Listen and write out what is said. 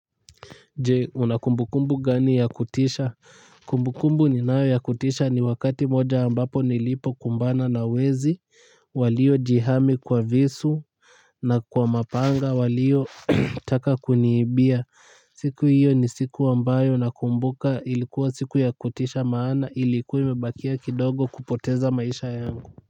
Je una kumbukumbu gani ya kutisha kumbukumbu ninayo ya kutisha ni wakati moja ambapo nilipo kumbana na wezi waliojihami kwa visu na kwa mapanga waliotaka kuniibia. Siku hiyo ni siku ambayo nakumbuka ilikuwa siku ya kutisha maana ilikuwa imebakia kidogo kupoteza maisha yangu.